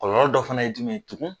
Kɔlɔlɔ dɔ fana ye jumɛn ye tugun?